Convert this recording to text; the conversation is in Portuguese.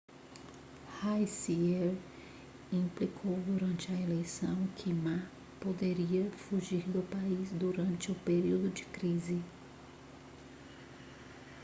hsieh implicou durante a eleição que ma poderia fugir do país durante um período de crise